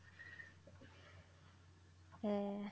হ্যাঁ